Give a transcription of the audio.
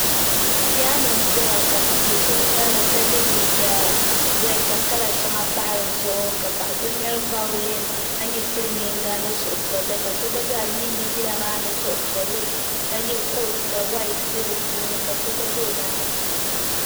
Piyano n zaya ka doo so ŋmeri li ka yɛ liiga rɛɛd ka kala shɛŋa pahi di zuɣu ka paɣa so ŋmeri vawulen ka nyɛ Silmiinga ni suhupiɛlli ka so zaa yiindi yila maa ni suhupiɛlli ka yɛ koot ka whait bɛ di puuni ka so gba za o nyaanga.